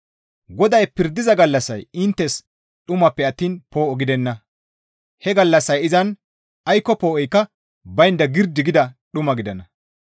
GODAY pirdiza gallassay inttes dhumappe attiin poo7o gidenna; he gallassay izan aykko poo7oykka baynda girdi gida dhuma gidana.